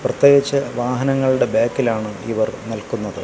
പ്രത്യേകിച്ച് വാഹനങ്ങളുടെ ബാക്കിലാണ് ഇവർ നിൽക്കുന്നത്.